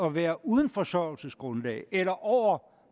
at være uden forsørgelsesgrundlag eller over